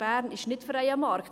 Bern ist nicht freier Markt.